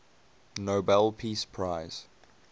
nobel peace prize